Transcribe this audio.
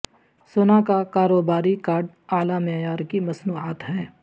سونا کا کاروباری کارڈ اعلی معیار کی مصنوعات ہے